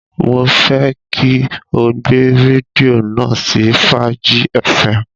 Mo fẹ́ kí o gbé rédíò náà sí Fàájí fm.